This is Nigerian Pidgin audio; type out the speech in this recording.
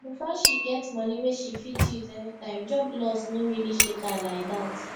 because she get money wey she fit use anytime job loss no really shake her like that